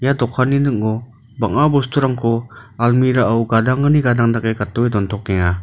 ia dokanni ning·o bang·a bosturangko almirah-o gadangni gadang dake gate dontokenga.